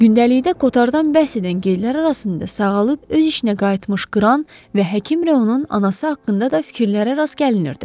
Gündəlikdə Kotardan bəhs edən qeydlər arasında sağalıb öz işinə qayıtmış qıran və həkim rayonun anası haqqında da fikirlərə rast gəlinirdi.